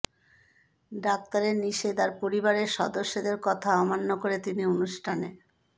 ডাক্তারের নিষেধ আর পরিবারের সদস্যদের কথা অমান্য করে তিনি অনুষ্ঠানে